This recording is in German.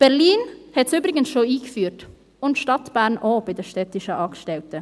Berlin hat es übrigens bereits eingeführt, und auch die Stadt Bern für die städtischen Angestellten.